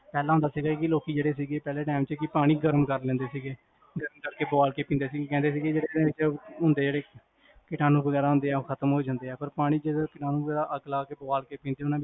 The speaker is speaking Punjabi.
ਪਹਲਾ ਹੁੰਦਾ ਸੀਗਾ, ਲੋਕੀ ਜੇਹੜੇ ਸੀਗੇ ਪਹਲੇ time ਚ ਪਾਣੀ ਗਰਮ ਕਰ੍ਲੈਂਦੇ ਸੀਗੇ ਗਰਮ ਕਰ ਕ ਪਵਾ ਕ ਪੀਂਦੇ ਸੀਗੇ ਜੇਹੜੇ ਹੁੰਦੇ ਹੈਗੇ ਕੀਟਾਨੂੰ ਵਗੇਰਾ ਖਤਮ ਹੋਜਾਂਦੇ ਆ ਪਾਰ ਪਾਣੀ ਜਿੰਦੇ ਅੱਗ ਲਾ ਕੇ